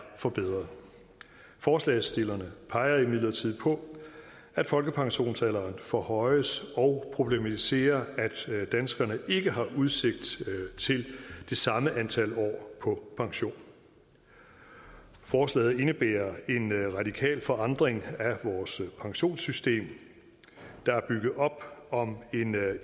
forbedret forslagsstillerne peger imidlertid på at folkepensionsalderen forhøjes og problematiserer at danskerne ikke har udsigt til det samme antal år på pension forslaget indebærer en radikal forandring af vores pensionssystem der er bygget op om en